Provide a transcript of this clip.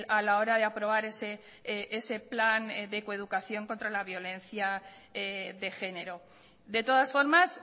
a la hora de aprobar ese plan de coeducación contra la violencia de género de todas formas